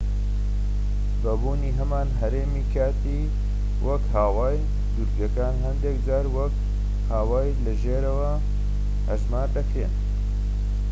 بە بوونی هەمان هەرێمی کاتی وەک هاوایی دوورگەکان هەندێك جار وەک هاوایی لە ژێرەوە هەژمار دەکرێن